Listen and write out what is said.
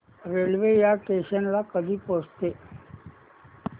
railway या station ला कधी पोहचते